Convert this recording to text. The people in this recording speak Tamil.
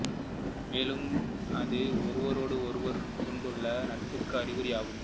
மேலும் அது ஒருவரோடு ஒருவர் கொண்டுள்ள நட்புக்கும் அறிகுறி ஆகும்